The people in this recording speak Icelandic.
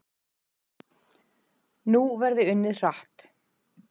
Nú verði unnið hratt